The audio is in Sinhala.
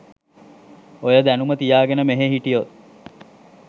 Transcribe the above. ඔය දැනුම තියාගෙන මෙහෙ හිටියොත්